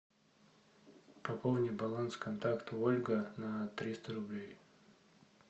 пополни баланс контакта ольга на триста рублей